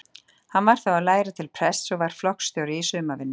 Hann var þá að læra til prests og var flokksstjóri í sumarvinnu.